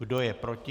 Kdo je proti?